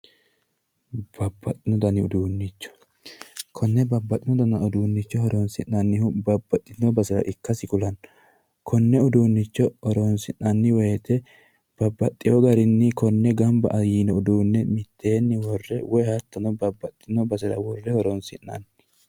babbaxino dani uduunnicho konne babbaxinno dani uduunnicho horonssi'nanihu babbaxitinnno baseha ikkasi kulanno konne uduunnicho horoonsi'nanni woyte babbaxewo garinni konne gamba yiino uduunne mitteenni worre horoonsi'nanni